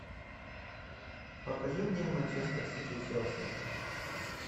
покажи мне манчестер сити челси